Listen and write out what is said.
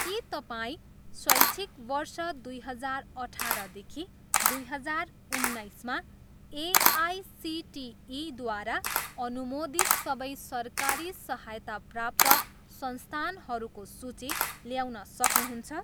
के तपाईँ शैक्षिक वर्ष दुई हजार अठाह्रदेखि दुई हजार उन्नाइसमा एआइसिटिईद्वारा अनुमोदित सबै सरकारी सहायता प्राप्त संस्थानहरूको सूची ल्याउन सक्नुहुन्छ?